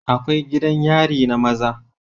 Akwai gidan yari na maza